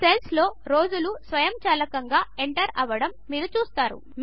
సెల్స్లో రోజులు స్వయంచాలకంగా ఎంటర్ అవడము మీరు చూస్తారు